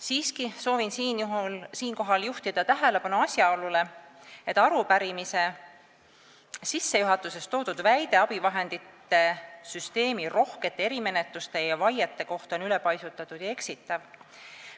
Siiski soovin siinkohal juhtida tähelepanu asjaolule, et arupärimise sissejuhatuses toodud väide abivahendite süsteemi rohkete erimenetluste ja vaiete kohta on ülepaisutatud ja eksitav.